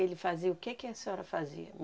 Ele fazia o que que a senhora fazia?